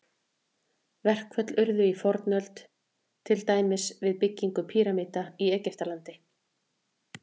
Verkföll urðu í fornöld, til dæmis við byggingu pýramída í Egyptalandi.